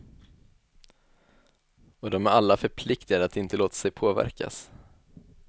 Och de är alla förpliktigade att inte låta sig påverkas.